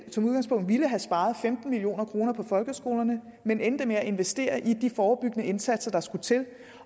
som udgangspunkt ville have sparet femten million kroner på folkeskolerne men endte med at investere i de forebyggende indsatser der skulle til